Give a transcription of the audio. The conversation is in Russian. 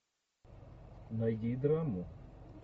найди драму